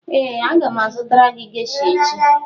ee aga m azụtara gị gesha echi